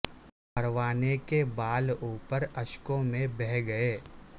پروانے کے بال و پر اشکوں میں بہہ گئے